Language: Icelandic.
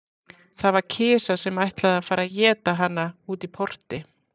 Það var kisa sem ætlaði að fara að éta hana úti í porti.